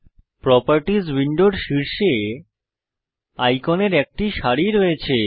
properties উইন্ডোর শীর্ষে আইকনের একটি সারি রয়েছে